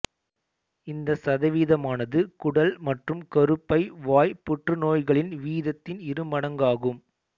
இந்த சதவீதமானது குடல் மற்றும் கருப்பை வாய் புற்றுநோய்களின் வீதத்தின் இருமடங்காகும்